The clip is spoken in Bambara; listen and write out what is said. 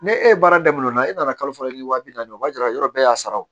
Ne e baara daminɛna o la e nana kalo fila ni waa bi naani o b'a yira yɔrɔ bɛɛ y'a sara